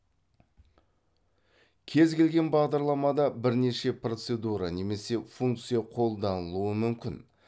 кез келген бағдарламада бірнеше процедура немесе функция қолданылуы мүмкін